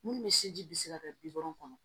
Minnu bɛ sinji bi se ka kɛ bi wolonfila kɔnɔ